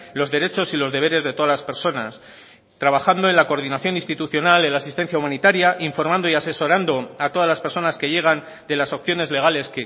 los derechos y los deberes de todas las personas trabajando en la coordinación institucional en la asistencia humanitaria informando y asesorando a todas las personas que llegan de las opciones legales